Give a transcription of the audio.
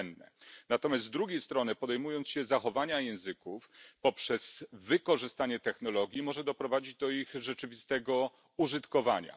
To cenne, natomiast z drugiej strony podejmując się zachowania języków poprzez wykorzystanie technologii, może doprowadzić do ich rzeczywistego użytkowania.